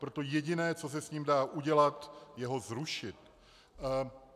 Proto jediné, co se s ním dá udělat, je ho zrušit.